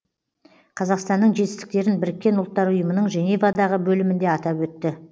қазақстанның жетістіктерін біріккен ұлттар ұйымының женевадағы бөлімінде атап өтті